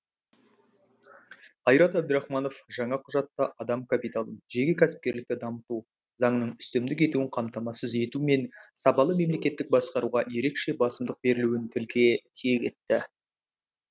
қайрат әбдірахманов жаңа құжатта адам капиталын жеке кәсіпкерлікті дамыту заңның үстемдік етуін қамтамасыз ету мен сапалы мемлекеттік басқаруға ерекше басымдық берілуін тілге тиек етті